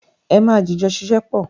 É ma jìjọ ṣiṣẹ́ papọ̀.